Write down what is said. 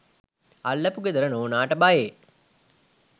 අල්ලපු ගෙදර නෝනාට බයේ.